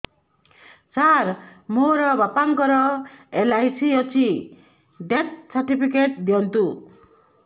ସାର ମୋର ବାପା ଙ୍କର ଏଲ.ଆଇ.ସି ଅଛି ଡେଥ ସର୍ଟିଫିକେଟ ଦିଅନ୍ତୁ